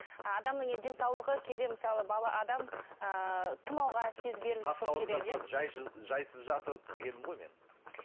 адамның енді денсаулығы кейде мысалы бала адам ыыы тұмауға тез жайсыз жатып дегенім ғой мен